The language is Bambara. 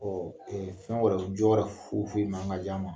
fɛn wɛrɛ, jɔ wɛrɛ foyi foyi m' an ka ka d'a ma.